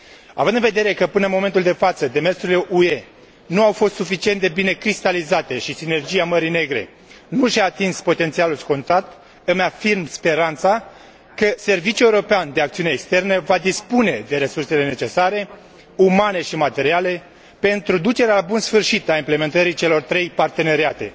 Având în vedere că, până în momentul de față, demersurile UE nu au fost suficient de bine cristalizate și Sinergia Mării Negre nu și a atins potențialul scontat, îmi afirm speranța că Serviciul European de Acțiune Externă va dispune de resursele necesare, umane și materiale, pentru ducerea la bun sfârșit a implementării celor trei parteneriate